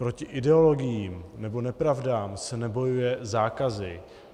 Proti ideologiím nebo nepravdám se nebojuje zákazy.